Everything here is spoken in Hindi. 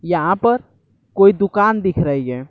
यहां पर कोई दुकान दिख रही है।